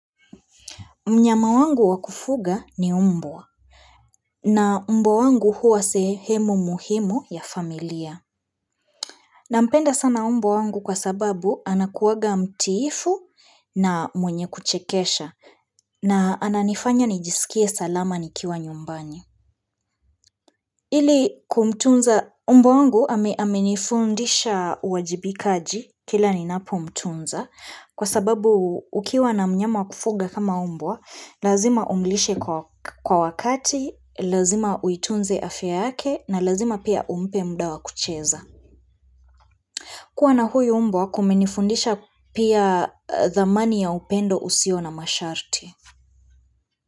Mnyama wangu wa kufuga ni mbwa na mbwa wangu huwa sehemu muhimu ya familia. Nampenda sana mbwa wangu kwa sababu anakuwanga mtiifu na mwenye kuchekesha na ananifanya nijisikie salama nikiwa nyumbani. Ili kumtunza, mbwa wangu amenifundisha uwajibikaji kila ninapomtunza kwa sababu ukiwa na mnyama wa kufuga kama mbwa, lazima umlishe kwa wakati, lazima uitunze afya yake na lazima pia umpe muda wa kucheza. Kuwa na huyu mbwa, kumenifundisha pia dhamani ya upendo usio na masharti.